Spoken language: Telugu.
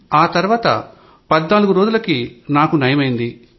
ఆతర్వాత 14 రోజులకి నాకు నయమైంది